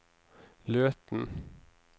Løten